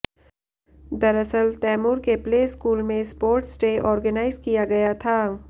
दरअसल तैमूर के play school में स्पोर्ट्स डे ऑर्गेनाइज किया गया था